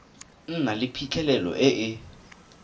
nna le phitlhelelo e e